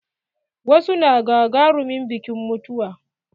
Wasu na gagarumin biƙin mutuwa.